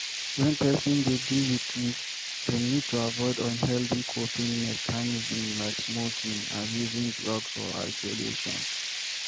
When person dey deal with grief dem need to avoid unhealthy coping mechnism like smoking, abusing drugs or isolation